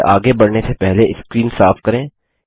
फिर से आगे बढ़ने से पहले स्क्रीन साफ करें